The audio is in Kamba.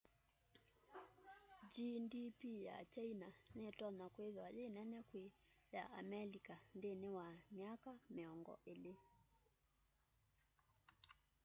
gdp ya kyaina nitonya kwithwa yi nene kwi ya amelika nthĩnĩ wa myaka mĩongo ĩlĩ